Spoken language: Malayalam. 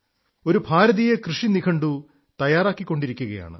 ഒരു ഭാരതീയ കൃഷി നിഘണ്ടു തയ്യാറാക്കിക്കൊണ്ടിരിക്കയാണ്